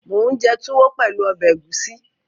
Mò ún jẹ túwó pẹ̀lú ọbẹ̀ ẹ̀gúsí